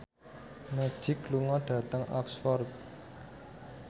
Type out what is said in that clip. Magic lunga dhateng Oxford